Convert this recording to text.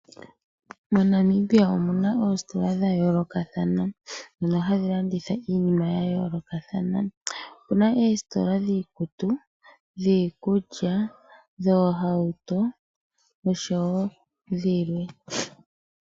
MoNamibia omuna oositola dha yolokathana. Dhono hadhi landitha iinima yayolokathana. Opuna oositola dhiikutu, dhiikulya, dhoohauto, noshowo dhilwe.